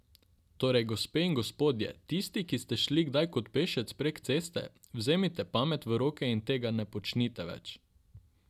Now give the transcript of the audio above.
Torej gospe in gospodje, tisti, ki ste šli kdaj kot pešec prek ceste, vzemite pamet v roke in tega ne počnite več!